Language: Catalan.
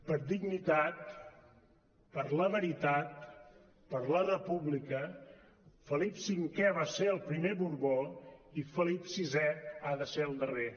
per dignitat per la veritat per la república felip v va ser el primer borbó i felip vi ha de ser el darrer